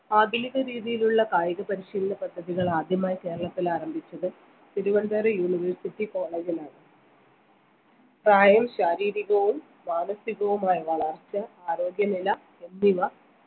ആധുനിക രീതിയിലുള്ള കായിക പരിശീലന പദ്ധതികൾ ആദ്യമായി കേരളത്തിൽ ആരംഭിച്ചത് തിരുവനന്തപുരം university college ലാണ് പ്രായം ശാരീരികവും മാനസികവുമായ വളർച്ച ആരോഗ്യനില എന്നിവ